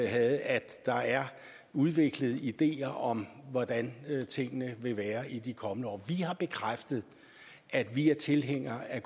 havde at der er udviklet ideer om hvordan tingene vil være i de kommende år vi har bekræftet at vi er tilhængere af